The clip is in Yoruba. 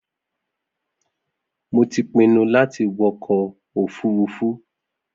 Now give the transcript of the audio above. Mo ti pinnu láti wọkọ̀ òfurufu